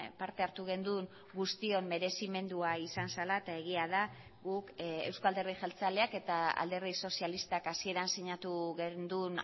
parte hartu genuen guztion merezimendua izan zela eta egia da guk euzko alderdi jeltzaleak eta alderdi sozialistak hasieran sinatu genuen